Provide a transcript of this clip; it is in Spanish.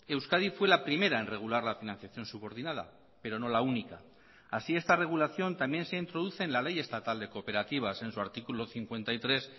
euskadi fue la primera en regular la financiación subordinada pero no la única así esta regulación también se introduce en la ley estatal de cooperativas en su artículo cincuenta y tres